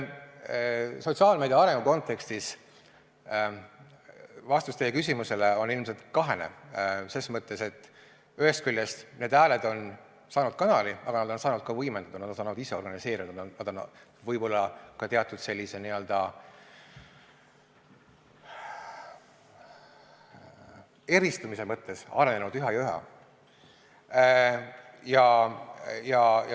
Sotsiaalmeedia arengu kontekstis on vastus teie küsimusele ilmselt kahene selles mõttes, et ühest küljest need hääled on saanud kanali, aga nad on saanud ka võimendatud, nad on saanud ise organiseeruda, nad on võib-olla ka teatud eristumise mõttes üha ja üha arenenud.